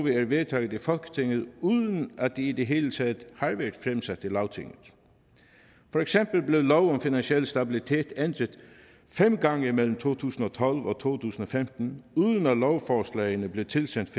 vedtaget i folketinget uden at de i det hele taget har været lagtinget for eksempel blev lov om finansiel stabilitet ændret fem gange mellem på to tusind og tolv og to tusind og femten uden at lovforslagene blev tilsendt